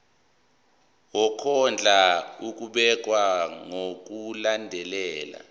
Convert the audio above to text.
wokondla ubekwa ngokulandlela